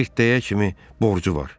Xirtdəyə kimi borcu var.